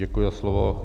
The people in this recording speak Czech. Děkuji za slovo.